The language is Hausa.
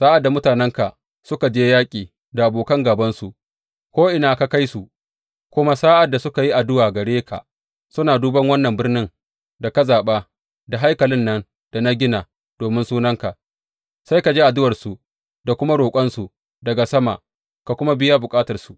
Sa’ad da mutanenka suka je yaƙi da abokan gābansu, ko’ina ka kai su, kuma sa’ad da suka yi addu’a gare ka suna duban wannan birnin da ka zaɓa da haikalin nan da na gina domin Sunanka, sai ka ji addu’arsu da kuma roƙonsu daga sama, ka kuma biya musu bukatarsu.